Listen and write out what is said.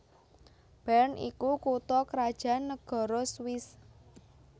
Bern iku kutha krajan nagara Swiss